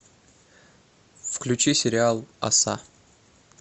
включи сериал оса